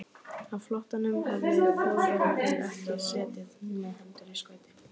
Á flóttanum höfðu Þjóðverjarnir ekki setið með hendur í skauti.